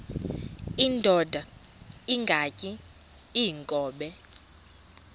indod ingaty iinkobe